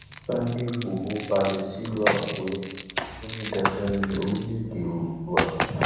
Sunday igboro balẹ sílùú àkùrè ó ní dandan ní orílẹèdè oòdua